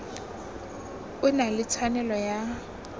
o na le tshwanelo ya